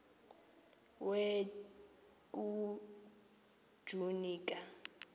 we kujuni ka